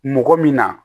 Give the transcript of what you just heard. Mɔgɔ min na